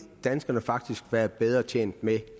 danskerne faktisk være bedre tjent med